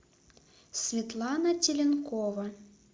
светлана теленкова